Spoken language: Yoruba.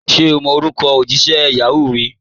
Ṣẹ̀ o mọ̀ orúkọ̀ ojísẹ̀ Yahoo mi?